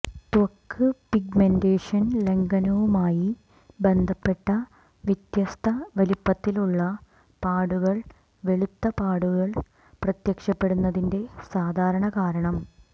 ത്വക്ക് പിഗ്മെന്റേഷൻ ലംഘനവുമായി ബന്ധപ്പെട്ട വ്യത്യസ്ത വലിപ്പത്തിലുള്ള പാടുകൾ വെളുത്ത പാടുകൾ പ്രത്യക്ഷപ്പെടുന്നതിന്റെ സാധാരണ കാരണം